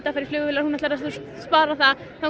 fara í flugvélar þangað